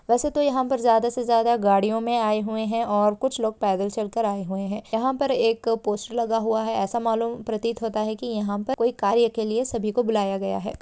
वेसे तो यहाँ पर ज्यादा से ज्यादा गाड़ियों में आये हुए है और कुछ लोग पैदल चल कर आये हुए है यहाँ पर एक पोस्टर लगा हुआ है ऐसा मालूम प्रतित होता है की यहाँ पर कोई कार्य के लिए सभी को बुलाया गया है।